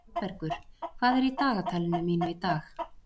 Valbergur, hvað er í dagatalinu mínu í dag?